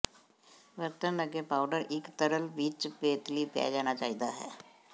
ਵਰਤਣ ਅੱਗੇ ਪਾਊਡਰ ਇੱਕ ਤਰਲ ਵਿੱਚ ਪੇਤਲੀ ਪੈ ਜਾਣਾ ਚਾਹੀਦਾ ਹੈ